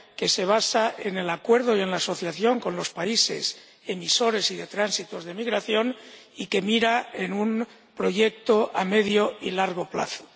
que se basa en el acuerdo y en la asociación con los países emisores y de tránsitos de migración y que mira a un proyecto a medio y largo plazo.